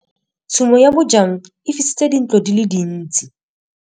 Tshumô ya bojang e fisitse dintlo di le dintsi.